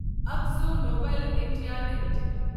Akzo Nobel India limited